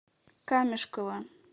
камешково